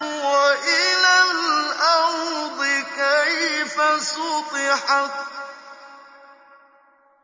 وَإِلَى الْأَرْضِ كَيْفَ سُطِحَتْ